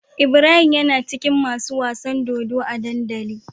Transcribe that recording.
Ibrahim yana cikin masu wasan dodo a dandali